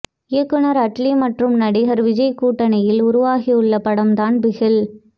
இயக்குனர் அட்லீ மற்றும் நடிகர் விஜய் கூட்டணியில் உருவாகியுள்ள படம் தான் பிகில்